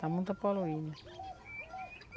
Está muito poluída.